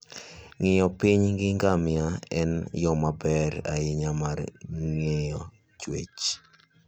Ng'iyo piny gi ngamia en yo maber ahinya mar ng'iyo chwech.